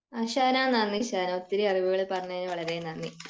ഷഹനാ നന്ദി ഷഹനാ ഒത്തിരി അറിവുകൾ പറഞ്ഞതിന്ന് നന്ദി